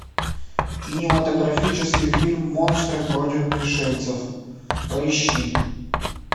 кинематографический фильм монстры против пришельцев поищи